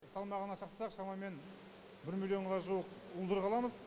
салмағына шақсақ шамамен бір миллионға жуық уылдырық аламыз